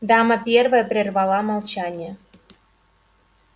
дама первая перервала молчание